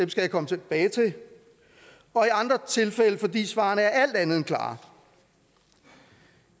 jeg komme tilbage til og i andre tilfælde fordi svarene er alt andet end klare